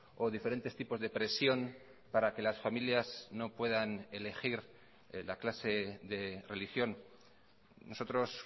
o diferentes tipos de presión para que las familias no puedan elegir la clase de religión nosotros